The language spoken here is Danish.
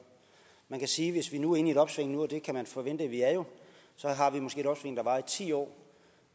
man kan sige at hvis vi nu er inde i et opsving og det kan man forvente at vi er i ti år